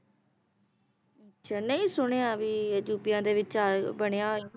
ਅੱਛਾ ਨਈ ਸੁਣਿਆ ਵੀ ਇਹ ਅਜੂਬਿਆਂ ਦੇ ਵਿਚ ਆ ਬਣਿਆ ਹੋਇਆ